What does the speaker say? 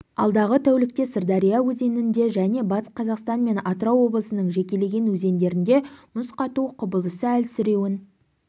алдағы тәулікте сырдария өзенінде және батыс қазақстан мен атырау облысының жекелеген өзендерінде мұз қату құбылысы әлсіреуін